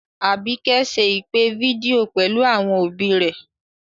Àbíkẹ́ ṣe ìpè fídíò pẹ̀lú àwọn òbí rẹ̀